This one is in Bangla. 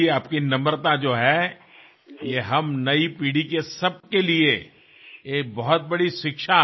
আপনার এই নম্রতাই আমাদের নতুন প্রজন্মের প্রত্যেকের কাছে সবচেয়ে বড় শিক্ষিনীয় বিষয়